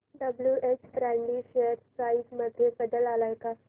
WH Brady share price मध्ये बदल आलाय का